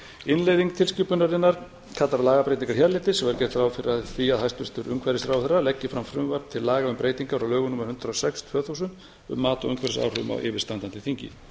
innleiðing tilskipunarinnar kallar á lagabreytingar hérlendis og er gert ráð fyrir því að hæstvirtur umhverfisráðherra leggi fram frumvarp til laga um breytingar á lögum númer hundrað og sex tvö þúsund um mat á umhverfisáhrifum á yfirstandandi þingi